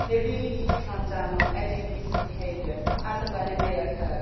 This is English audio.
They really need to clamp down on any abusive behaviour as and when it may occur.